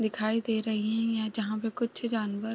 दिखाई दे रही हैं या जहां पर कुछ जानवर --